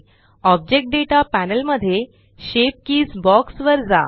object data panel मध्ये shape keys box वर जा